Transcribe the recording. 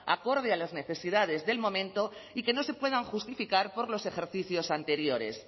acorde a las necesidades del momento y que no se pueden justificar por los ejercicios anteriores